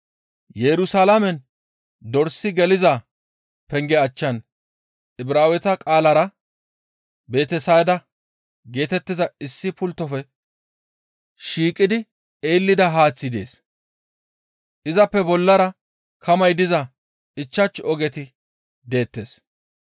Yerusalaamen dorsi geliza penge achchan Ibraaweta qaalara, «Betesayda» geetettiza issi pulttofe shiiqidi eellida haaththi dees; izappe bollara kamay diza ichchashu ogeti deettes.